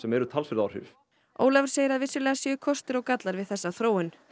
eru talsverð áhrif Ólafur segir að vissulega séu kostir og gallar við þessa þróun